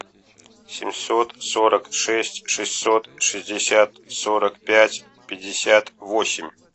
семьсот сорок шесть шестьсот шестьдесят сорок пять пятьдесят восемь